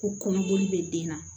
Ko kɔnɔboli bɛ den na